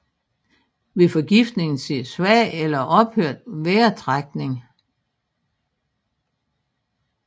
Ved forgiftning ses svag eller ophørt vejrtrækning